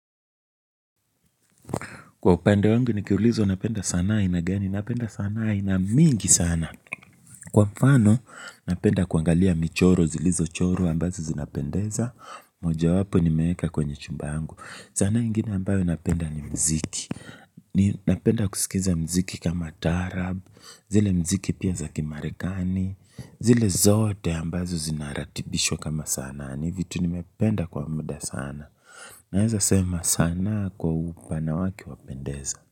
Kwa upande wangu nikiliuzwa napenda sanaa ya aina gani, napenda sanaa aina mingi sana. Kwa mfano, napenda kuangalia michoro, zilizochorwa ambazo zinapendeza, mojawapo nimeeska kwenye chumba yangu. Sanaa ingine ambayo napenda ni mziki. Napenda kusikiza mziki kama taarab, zile mziki pia za kimarekani, zile zote ambazo zinaratibishwa kama sanaa ni vitu nimependa kwa muda sana. Naeza sanaa kwa upande wake wapendeza.